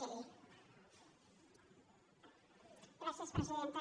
gràcies presidenta